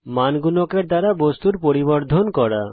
মান গুণকের দ্বারা বস্তুর পরিবর্ধন করা